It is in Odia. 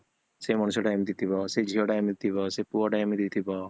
ସେ ମଣିଷଟା ଏମତି ଥିବ ସେଇ ଝିଅଟା ଏମିତି ହେଇ ଥିବ, ସେଇ ପୁଅତ ସେମିତି ହେଇଥିବ